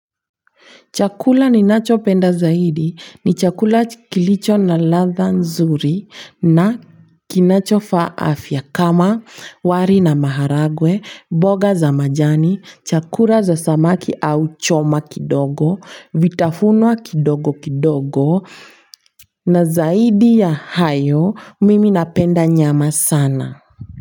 Chakula ninachopenda zaidi ni chakula kilicho na ladha nzuri na kinachofaa afya kama wali na maharagwe, mboga za majani, chakula cha samaki au choma kidogo, vitafunwa kidogo kidogo. Na zaidi ya hayo mimi napenda nyama sana.